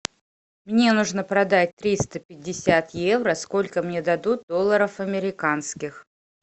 мне нужно продать триста пятьдесят евро сколько мне дадут долларов американских